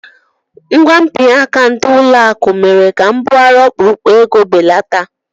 Ngwa mpịaka ndị ụlọakụ mere ka mbugharị ọkpụrụkpụ ego belata